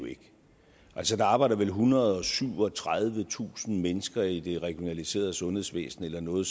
altså der arbejder vel ethundrede og syvogtredivetusind mennesker i det regionaliserede sundhedsvæsen eller noget